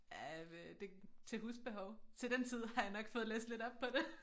Ah øh det til husbehov til den tid har jeg nok fået læst lidt op på det